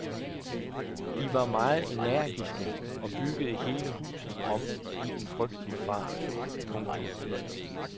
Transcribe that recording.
De var meget energiske og byggede hele huset om i en frygtelig fart. punktum